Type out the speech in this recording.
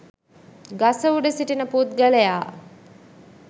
ගස උඩ සිටින පුද්ගලයා